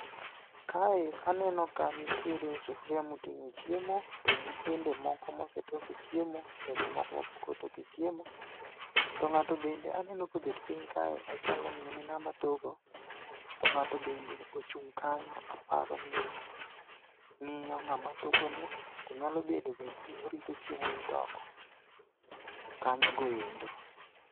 Kae aneno ka nitiere sufuria moting'o chiemo to gi sende moko mosetoke chiemo to gi moko mapok otoke chiemo. To ng'ato bende aneno kobet piny kae ochalo ni en ng'awa toko to ng'ato bende ochung' kanyo aparo ni ng'iyo ng'ama toko ni. Nyalo bedo bende ni orito chiemo mitoko kanyo goendo.